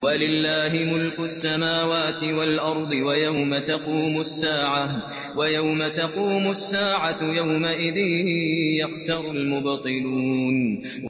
وَلِلَّهِ مُلْكُ السَّمَاوَاتِ وَالْأَرْضِ ۚ وَيَوْمَ تَقُومُ السَّاعَةُ يَوْمَئِذٍ يَخْسَرُ الْمُبْطِلُونَ